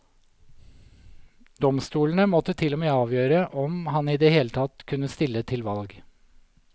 Domstolene måtte til og med avgjøre om han i det hele tatt kunne stille til valg.